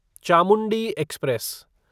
Chamundi express